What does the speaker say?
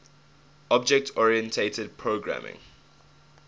object oriented programming